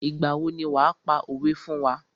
Ìgbà wo ni wàá pa òwé fún wá.